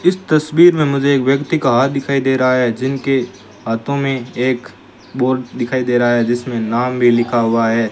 इस तस्वीर में मुझे एक व्यक्ति का हाथ दिखाई दे रहा है जिनके हाथों में एक बोर्ड दिखाई दे रहा है जिसमें नाम भी लिखा हुआ है।